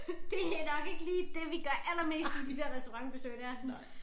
Det er nok ikke lige det vi gør allermest i de der restaurantbesøg der sådan